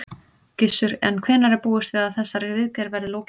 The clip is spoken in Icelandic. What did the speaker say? Gissur: En hvenær er búist við að þessari viðgerð verði lokið?